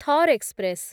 Thar express